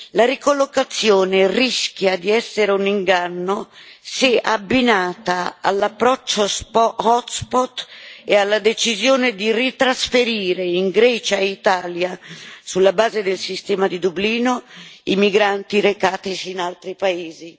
La ricollocazione rischia di essere un inganno se abbinata all'approccio hotspot e alla decisione di ritrasferire in Grecia e in Italia, sulla base del sistema di Dublino, i migranti recatisi in altri paesi.